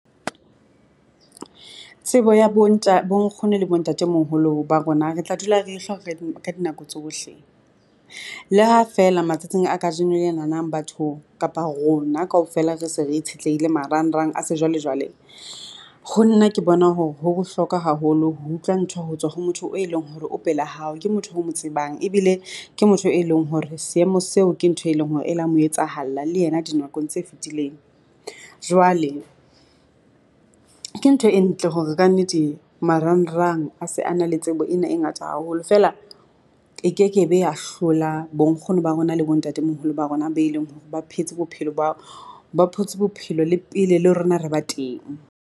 Tsebo ya bo bo nkgono le bo ntatemoholo ba rona re tla dula re e ka dinako tsohle, le ha feela matsatsing a kajeno lenanang batho kapa rona, kaofela re se re itshetlehile marangrang a sejwalejwale. Ho nna ke bona hore ho bohlokwa haholo ho utlwa ntho ho tswa ho motho o e leng hore o pela hao, ke motho o mo tsebang ebile ke motho e leng hore seemo seo ke ntho e leng hore e leng hore e la mo etsahala le yena dinakong tse fetileng. Jwale, ke ntho e ntle hore kannete marangrang a se a na le tsebo ena e ngata haholo fee la e kekebe ya hlola bonkgono ba rona le bo ntatemoholo ba rona be leng hore ba phetse bophelo, bao, ba phetse bophelo le pele le rona re ba teng.